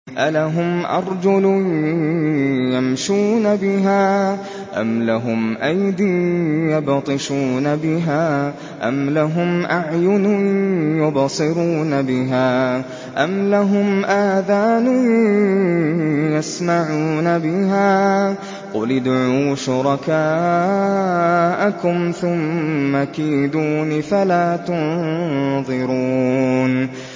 أَلَهُمْ أَرْجُلٌ يَمْشُونَ بِهَا ۖ أَمْ لَهُمْ أَيْدٍ يَبْطِشُونَ بِهَا ۖ أَمْ لَهُمْ أَعْيُنٌ يُبْصِرُونَ بِهَا ۖ أَمْ لَهُمْ آذَانٌ يَسْمَعُونَ بِهَا ۗ قُلِ ادْعُوا شُرَكَاءَكُمْ ثُمَّ كِيدُونِ فَلَا تُنظِرُونِ